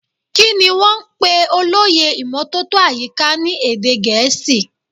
Kini wọn ń pè olóyè ìmótótó àyíká ni èdè gẹ̀ẹ́sì.